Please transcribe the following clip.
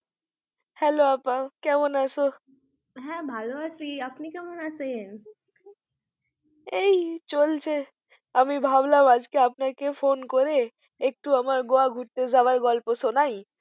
Hello আপা কেমন আছো? হ্যাঁ ভালো আছি, আপনি কেমন আছেন? এই চলছে আমি ভাবলাম আজকে আপনাকে phone করে একটু আমার Goa ঘুরতে যাওয়ার গল্প শোনাই